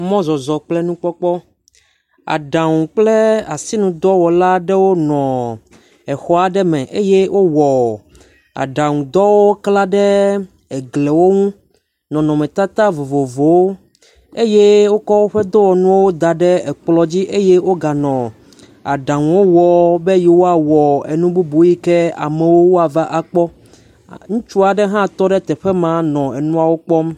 Mɔzɔzɔ kple nukpŋɔkpɔ, aɖaŋu kple asinudɔwɔla aɖewo nɔ xɔ aɖe me eye wowɔ aɖaŋudɔ kla ɖe egliawo ŋu, nɔnɔmetata vovovowo, eye wokɔ woƒe dɔwɔnuwo da ɖe ekplɔa dzi nɔ aɖaŋuwowɔm be yewoawɔ nu bubu na amewo na kpɔ, ŋutsu aɖe hã nɔ afi ma neɛ̃ɔ nu kpɔm.